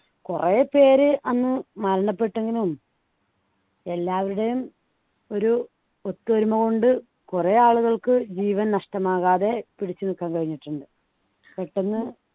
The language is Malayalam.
കുറെ പേര് അന്നു മരണപ്പെട്ടെങ്കിലും എല്ലാവരുടെയും ഒരു ഒത്തൊരുമ കൊണ്ട് കുറെ ആളുകൾക്ക് ജീവൻ നഷ്ടമാകാതെ പിടിച്ചുനിൽക്കാൻ കഴിഞ്ഞിട്ടുണ്ട് പെട്ടെന്ന്